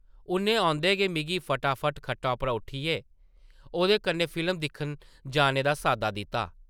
उʼन्नै औंदे गै मिगी फटाफट खट्टा उप्परा उट्ठियै ओह्दे कन्नै फिल्म दिक्खन जाने दा साद्दा दित्ता ।